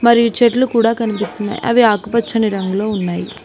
మరియు చెట్లు కూడా కనిపిస్తున్నాయ్ అవి ఆకుపచ్చని రంగులో ఉన్నాయి.